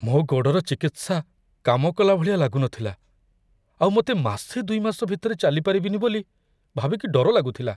ମୋ' ଗୋଡ଼ର ଚିକିତ୍ସା କାମ କଲା ଭଳିଆ ଲାଗୁନଥିଲା ଆଉ ମତେ ମାସେ ଦୁଇମାସ ଭିତରେ ଚାଲିପାରିବିନି ବୋଲି ଭାବିକି ଡର ଲାଗୁଥିଲା ।